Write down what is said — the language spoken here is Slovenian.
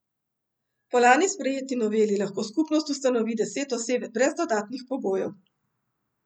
Po lani sprejeti noveli lahko skupnost ustanovi deset oseb brez dodatnih pogojev.